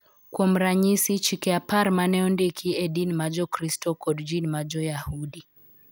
Kuom ranyisi, Chike Apar ma ne ondiki e din ma Jokristo kod din ma Jo-Yahudi .